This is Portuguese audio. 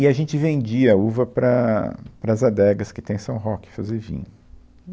E a gente vendia uva para, para as adegas que tem em São Roque fazer vinho.